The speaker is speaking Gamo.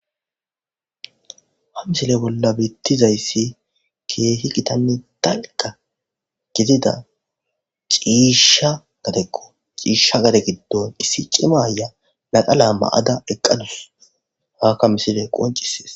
ha misile bolla bittizayssi keehi gitanni talka gizida ciishsha gadekko ciishsha gade giddon issi cimaya laqa laa ma7ada eqqadus haakka misile qoncisees